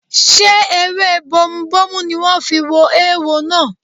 Ṣé ewé bomubómú ni wọ́n fi wo eéwo náà?